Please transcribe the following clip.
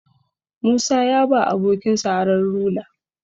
Musa ya ba abokinsa Aron rula